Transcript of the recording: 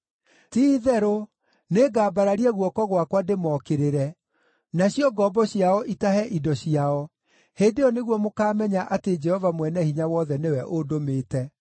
Ti-itherũ nĩngambararia guoko gwakwa ndĩmookĩrĩre, nacio ngombo ciao itahe indo ciao. Hĩndĩ ĩyo nĩguo mũkaamenya atĩ Jehova Mwene-Hinya-Wothe nĩwe ũndũmĩte.